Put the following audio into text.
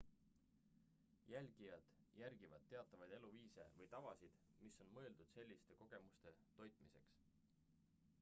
jälgijad järgivad teatavaid eluviise või tavasid mis on mõeldud selliste kogemuste toitmiseks